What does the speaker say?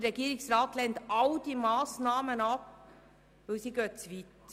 Der Regierungsrat lehnt all diese Massnahmen ab, denn sie gehen zu weit.